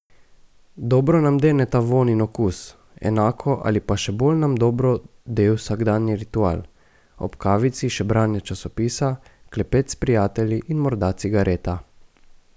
Dobro nam deneta vonj in okus, enako ali pa še bolj nam dobro de vsakdanji ritual, ob kavici še branje časopisa, klepet s prijatelji in morda cigareta.